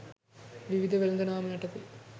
විවිධ වෙළෙඳ නාම යටතේ